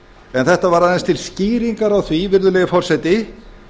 en þetta var aðeins til skýringar á því virðulegi forseti